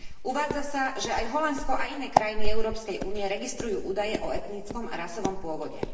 Uvádza sa, že aj Holandsko a iné krajiny Európskej únie registrujú údaje o etnickom a rasovom pôvode.